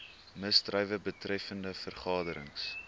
misdrywe betreffende vergaderings